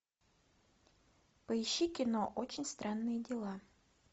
поищи кино очень странные дела